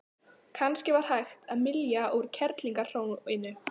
Kannski var hægt að mylja úr kerlingarhróinu?